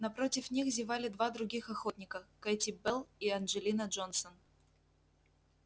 напротив них зевали два других охотника кэти белл и анджелина джонсон